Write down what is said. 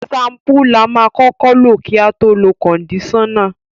Ṣampú la máa kọ́kọ́ lò kí a tó lo kọ̀ndíṣánnà